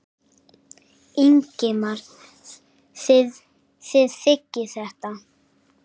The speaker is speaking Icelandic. Ingimar: Þið þiggið þetta?